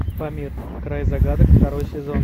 памир край загадок второй сезон